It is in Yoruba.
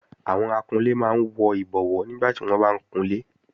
Àwọn akunlé máa ń wọ ìbọwó nígbàtí wọ́n bá ń kunlé